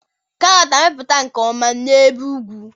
karọt ga-amịpụta nke ọma n'ebe ugwu